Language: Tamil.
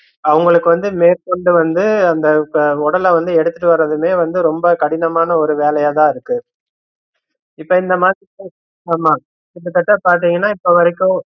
அவுங்களுக்கு வந்து மேற்கொண்டு வந்து அந்த உடல வந்து எடுத்துட்டு வர்றதுமே வந்து ரொம்ப கடினமான ஒரு வேலையாதா இருக்கு, இப்ப இந்த மாசத்துல ஆமா கிட்ட தட்ட பாத்தீங்கன்னா இப்போ வரைக்கும்